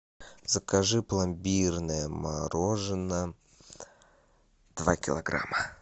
закажи пломбирное мороженое два килограмма